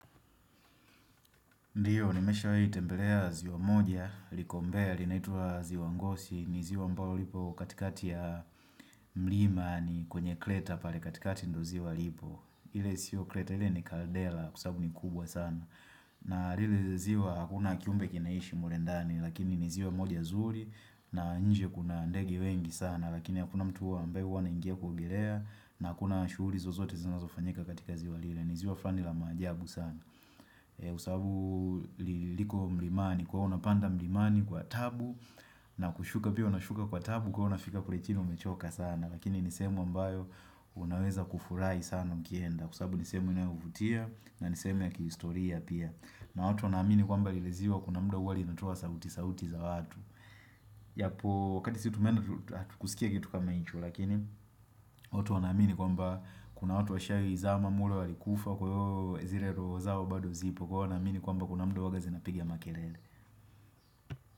Ndiyo, nimeshawahi tembelea ziwa moja, liko mbea, linaitwaa ziwa ngosi, ni ziwa ambalo lipo katikati ya mlima ni kwenye kleta pale katikati ndo ziwa lipo. Ile sio kleta, ile ni kardela, kwa sababu ni kubwa sana. Na lile ziwa, hakuna kiumbe kinaishi mle ndani, lakini ni ziwa moja zuri, na nje kuna ndege wengi sana, lakini hakuna mtu huwa ambae anaingia kuogeleaa, na hakuna shughuli zozote zinazofanyika katika ziwa lile, ni ziwa flani la maajabu sana. Kwa sababu liliko mlimani kwa huo unapanda mlimani kwa taabu na kushuka pia unashuka kwa taabu ka unafika kule chini umechoka sana Lakini nisehemu ambayo unaweza kufurahi sana mkienda Kwa sababu ni sehemu inayovutia na nisehemu ya kihistoria pia na watu wanaamini kwamba lile ziwa kuna mda huwa linatoa sauti sauti za watu yapo wakati sisi tumeenda hatukusikia kitu kama hicho. Lakini watu wanamini kwamba kuna watu washaizama mulo alikufa kwa hiyo zile roho zao bado zipo, kwa hiyo wanaamini kwamba kuna muda huwaga zinapiga makelele.